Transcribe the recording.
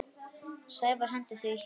Sævar henti því hjarta.